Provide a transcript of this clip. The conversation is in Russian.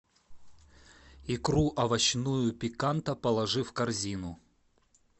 икру овощную пиканта положи в корзину